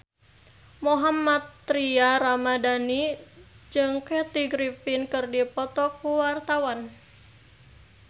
Mohammad Tria Ramadhani jeung Kathy Griffin keur dipoto ku wartawan